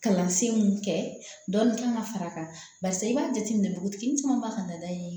Kalansen mun kɛ dɔnni kan ka far'a kan barisa i b'a jateminɛ dugutigi caman b'a ka nada ye